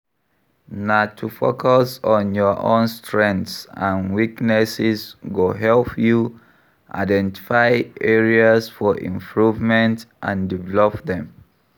Na to focus on your own strengths and weaknesses go help you identify areas for improvement and develop dem.